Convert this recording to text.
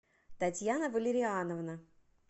татьяна валериановна